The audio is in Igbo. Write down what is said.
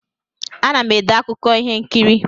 Ana m ede akụkọ ihe nkiri.